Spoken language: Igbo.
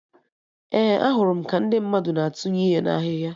Ee, ahụrụ m ka ndị mmadụ na atụnye ihe na ahịhịa